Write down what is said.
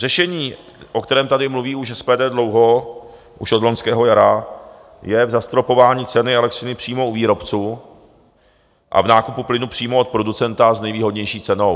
Řešení, o kterém tady mluví už SPD dlouho, už od loňského jara, je v zastropování ceny elektřiny přímo u výrobců a v nákupu plynu přímo od producenta s nejvýhodnější cenou.